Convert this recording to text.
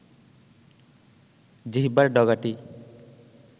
জিহ্বার ডগাটি